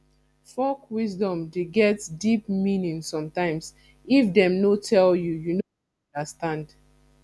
folk wisdom de get deep meaning sometimes if dem no tell you you no go understand